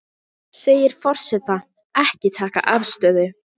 Segir forseta ekki taka afstöðu